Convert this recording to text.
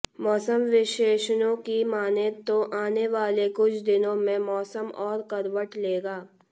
मौसम विशेषज्ञों की मानें तो आने वाले कुछ दिनों मंे मौसम और करवट लेगा